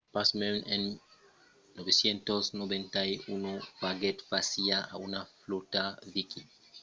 pasmens en 991 faguèt fàcia a una flòta viking mai granda que totas las anterioras dempuèi la de guthrum un sègle abans